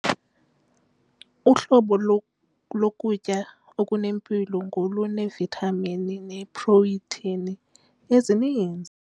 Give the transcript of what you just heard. Uhlobo lokutya okunempilo ngoluneevithamini neeprotheyini ezininzi.